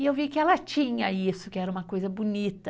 E eu vi que ela tinha isso, que era uma coisa bonita.